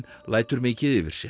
lætur mikið yfir sér